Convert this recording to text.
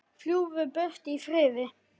Fljúgðu burt í friði.